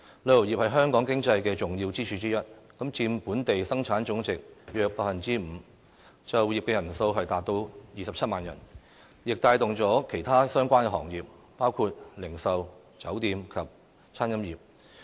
旅遊業是香港經濟的重要支柱之一，佔本地生產總值約 5%， 就業人數達27萬人，亦帶動了其他相關行業，包括零售、酒店及餐飲業。